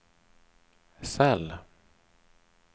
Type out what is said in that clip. cell